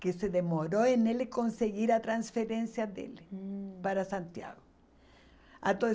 Que se demorou em ele conseguir a transferência dele, hum, para Santiago. Ao todo